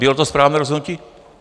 Bylo to správné rozhodnutí?